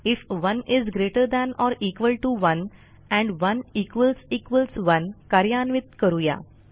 if 1 is greater than or equal T O 1 and 11 कार्यान्वित करूया